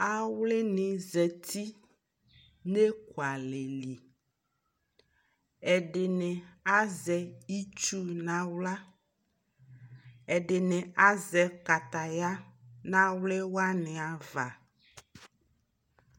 awli ni zati nʋ ɛkʋ alɛ li, ɛdini azɛ itsu nʋ ala ,ɛdini azɛ kataya nʋ awli wani aɣa